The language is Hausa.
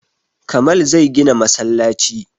Kamal zai gina masallaci